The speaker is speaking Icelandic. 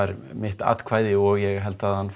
mitt atkvæði og ég held að hann